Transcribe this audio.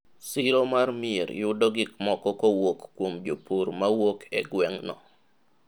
siro mar mier yudo gikmoko kowuok kuom jopur mawuok e gweng' no